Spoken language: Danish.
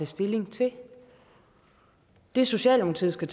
stilling til det socialdemokratiet skal